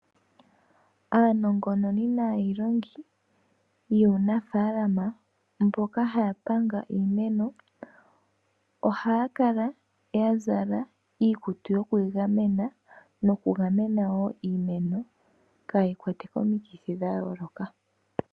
Aanongononi naayilongi yuunafalama mboka haya panga iimeno ohaya kala ya zala iikutu yoku igamena noku gamena wo iimeno kayi kwatwe komikithi dha yooloka.